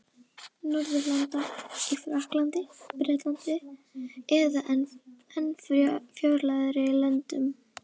Norðurlanda: í Frakklandi, Bretlandi eða enn fjarlægari löndum.